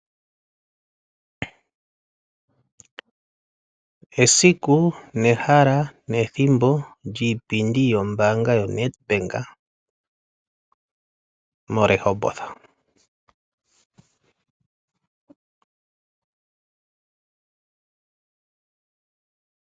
Esiku, nehala nethimbo lyiipindi yombaanga yo NedBank moRehoboth.